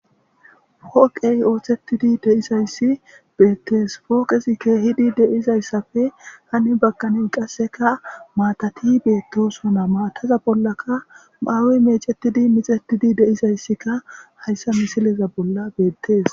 Poqeyi oththetidi de'izayiss betees.poqezzi kehiddi de'izayissappe hani bagan qasekka matati betosona qm mataza bollakka mayoyi mecetiddi miccettidi de'izayikka hayissa misilezza bolla betees.